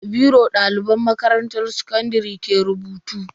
Da biro daliban makarantan sakandare ke rubutu.